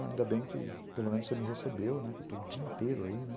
Ainda bem que pelo menos você me recebeu, né, que eu estou o dia inteiro aí, né.